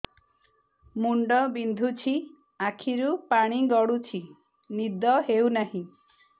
ମୁଣ୍ଡ ବିନ୍ଧୁଛି ଆଖିରୁ ପାଣି ଗଡୁଛି ନିଦ ହେଉନାହିଁ